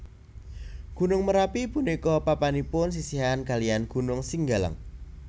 Gunung Merapi punika papanipun sisihan kaliyan Gunung Singgalang